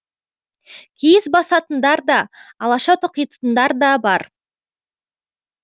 киіз басатындар да алаша тоқитындар да бар